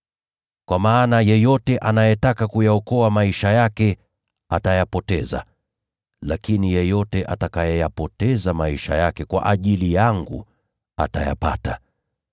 Kwa maana yeyote anayetaka kuyaokoa maisha yake atayapoteza, lakini yeyote atakayeyapoteza maisha yake kwa ajili yangu atayapata.